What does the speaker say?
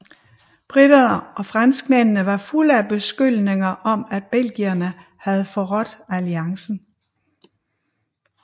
Briterne og franskmændene var fulde af beskyldninger om at belgierne havde forrådt alliancen